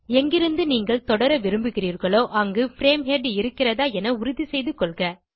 எங்கிருந்து நீங்கள் தொடர விரும்புகிறீர்களோ அங்கு பிரேம் ஹெட் இருக்கிறதா என உறுதி செய்து கொள்க